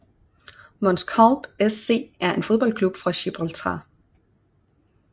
Mons Calpe SC er en fodboldklub fra Gibraltar